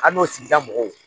An n'o sidida mɔgɔw